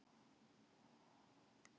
Málið í höndum Alþingis